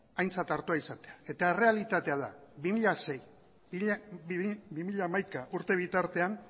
aintzat hartua izatea eta errealitatea da bi mila sei bi mila hamaika urte bitartean